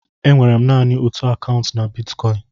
E nwere naanị otú akaụntụ na bitkọịn.